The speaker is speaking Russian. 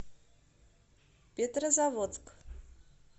петрозаводск